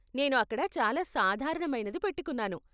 నేను అక్కడ చాలా సాధారణమైనది పెట్టుకున్నాను.